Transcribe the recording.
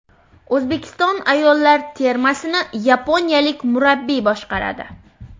O‘zbekiston ayollar termasini yaponiyalik murabbiy boshqaradi.